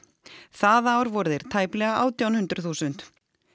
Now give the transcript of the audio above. það ár voru þeir tæplega átján hundruð þúsund